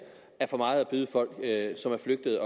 er for meget at byde folk som er flygtet